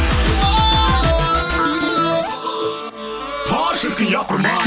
па шіркін япырым ай